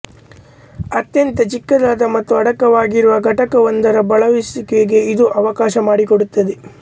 ಅತ್ಯಂತ ಚಿಕ್ಕದಾದ ಮತ್ತು ಅಡಕವಾಗಿರುವ ಘಟಕವೊಂದರ ಬಳಸುವಿಕೆಗೆ ಇದು ಅವಕಾಶ ಮಾಡಿಕೊಡುತ್ತದೆ